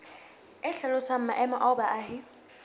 e hlalosang maemo ao baahi